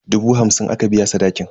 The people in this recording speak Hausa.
Dubu hamsin aka biya sadakin.